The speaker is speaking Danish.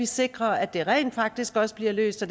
sikre at det rent faktisk også bliver løst og